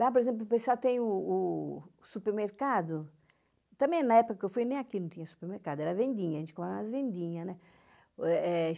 Lá, por exemplo, o pessoal tem o o supermercado, também na época que eu fui, nem aqui não tinha supermercado, era vendinha, a gente comia nas vendinhas, né? É é